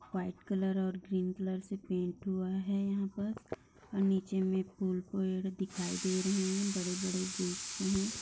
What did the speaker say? white colour और green colour से paint हुआ है यहां पर और नीचे में फूल पेड़ दिखाई दे रहे हैं बड़े-बड़े गेट --